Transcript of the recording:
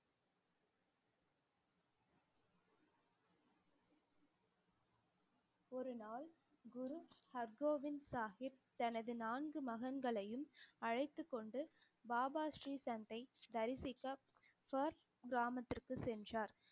ஒரு நாள் குரு ஹர்கோபிந்த் சாஹிப் தனது நான்கு மகன்களையும் அழைத்துக் கொண்டு பாபா ஸ்ரீ சந்த்தை தரிசிக்க பியர்க் கிராமத்திற்கு சென்றார்